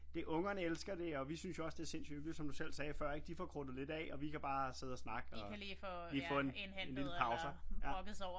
Det ungerne elskerne det og vi synes jo også det er sindssygt hyggeligt som du selv sagde før ikke de får krudtet lidt af og vi kan bare sidde og snakke og lige få en lille pauser